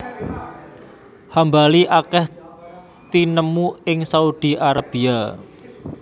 Hambali akèh tinemu ing Saudi Arabia